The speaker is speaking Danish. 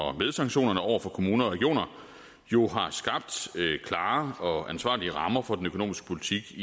og med sanktionerne over for kommuner og regioner jo har skabt klare og ansvarlige rammer for den økonomiske politik i